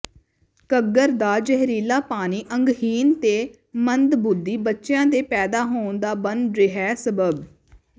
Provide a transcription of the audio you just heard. ਘੱਗਰ ਦਾ ਜ਼ਹਿਰੀਲਾ ਪਾਣੀ ਅੰਗਹੀਣ ਤੇ ਮੰਦਬੁੱਧੀ ਬੱਚਿਆਂ ਦੇ ਪੈਦਾ ਹੋਣ ਦਾ ਬਣ ਰਿਹੈ ਸਬੱਬ